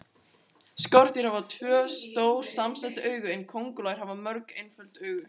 Skordýr hafa tvö, stór samsett augu en kóngulær hafa mörg, einföld augu.